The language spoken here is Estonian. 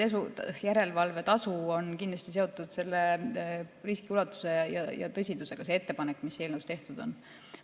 Esiteks, järelevalvetasu on kindlasti seotud selle riski ulatuse ja tõsidusega – see ettepanek, mis eelnõus tehtud on.